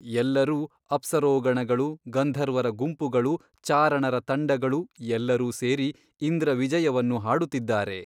ಎಲ್ಲರೂ ಅಪ್ಸರೋಗಣಗಳು ಗಂಧರ್ವರ ಗುಂಪುಗಳು ಚಾರಣರ ತಂಡಗಳು ಎಲ್ಲರೂ ಸೇರಿ ಇಂದ್ರವಿಜಯವನ್ನು ಹಾಡುತ್ತಿದ್ದಾರೆ.